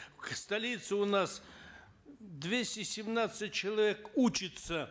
в столице у нас двести семнадцать человек учится